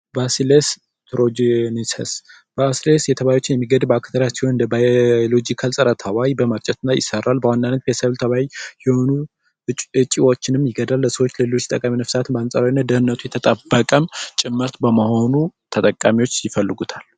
ባሲለስ ሮጀኒሰስ ባሲለስ የተባሉትን ባክቴሪያ የሚገል ሲሆን እንደ ባዮሎጂካል ፀረ ተባይ በመርጨት ይሰራል። በዋናነት የሰብል ተባይ የሆኑ እጮችን ይገድላል። ለሰዎች ለሌሎች ጠቃሚ ነፍሳት በአንፃራዊነት ደኽንነቱ የተጠበቀም ጭምር በመሆኑ ተጠቃሚዎች ይፈልጉታል